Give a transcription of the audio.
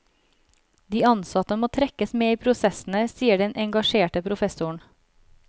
De ansatte må trekkes med i prosessene, sier den engasjerte professoren.